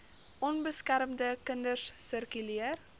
onbeskermde kinders sirkuleer